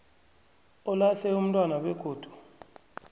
olahle umntwana begodu